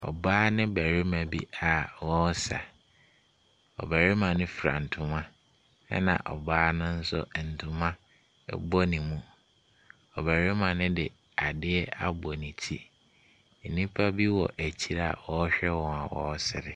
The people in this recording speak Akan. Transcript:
Ɔbaa ne barima bi a wɔresa. Ɔbarima no fura ntoma, ɛnna ɔbaa no nso, ntoma bɔ ne mu. Ɔbarima no de adeɛ abɔ ne ti. Nnipa bi wɔ akyire a wɔrehwɛ wɔn.